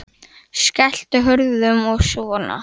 Eva: Skelltu hurðum og svona?